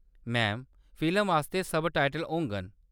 Ma'am, film आस्तै subtitle होङन।